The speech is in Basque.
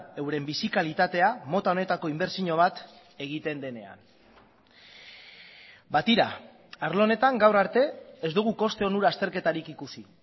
euren bizi kalitatea mota honetako inbertsio bat egiten denean ba tira arlo honetan gaur arte ez dugu koste onura azterketarik ikusi